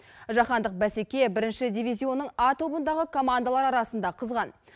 жаһандық бәсеке бірінші дивизионның а тобындағы командалар арасында қызған